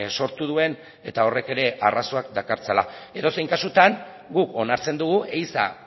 sortu duen eta horrek ere arazoak dakartzala edozein kasutan guk onartzen dugu ehiza